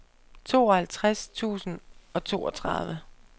tooghalvtreds tusind og toogtredive